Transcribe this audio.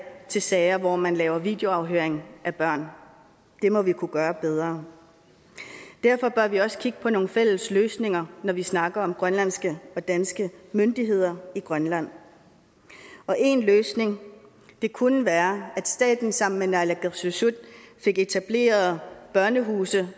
til sager hvor man laver videoafhøring af børn det må vi kunne gøre bedre derfor bør vi også kigge på nogle fælles løsninger når vi snakker om grønlandske og danske myndigheder i grønland en løsning kunne være at staten sammen med naalakkersuisut fik etableret børnehuse